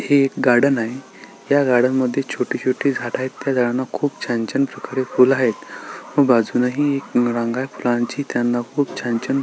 हे एक गार्डन आहे या गार्डन मध्ये छोटी छोटी झाड आहेत त्या झाडाना खुप छान छान प्रकारे फुले आहेत व बाजुने ही एक रंग आहे फुलाची त्याना खूप छान छान --